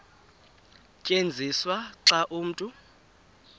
tyenziswa xa umntu